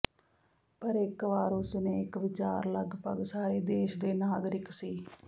ਪਰ ਇੱਕ ਵਾਰ ਉਸ ਨੇ ਇੱਕ ਵਿਚਾਰ ਲਗਭਗ ਸਾਰੇ ਦੇਸ਼ ਦੇ ਨਾਗਰਿਕ ਸੀ